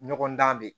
Ɲɔgɔndan de